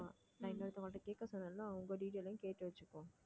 நான் இன்னொருத்தவங்க கிட்ட கேட்க சொன்னேன் இல்ல அவங்க detail லயும் கேட்டு வச்சுக்கோ